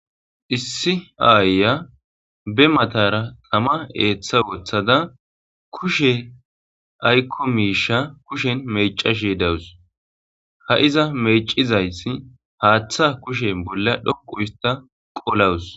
issi aayiya be matara tama eeththa woththada kushe aykko miisha kushen mecashe dawus, ha iza mecizaysi haaththa kushe bolla dhoqu hista qolawus